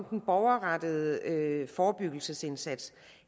den borgerrettede forebyggelsesindsats